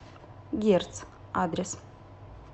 герц адрес